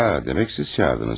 Ya demək siz çağırdınız.